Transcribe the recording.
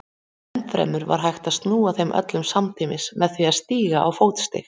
Ennfremur var hægt að snúa þeim öllum samtímis með því að stíga á fótstig.